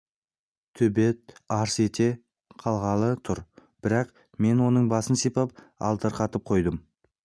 төбет арс ете қалғалы тұр бірақ мен оның басын сипап алдарқатып қойдым